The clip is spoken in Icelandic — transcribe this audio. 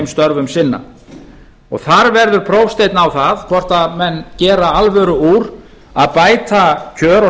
störfum sinna þar verður prófsteinn á það hvort menn gera alvöru úr að bæta kjör og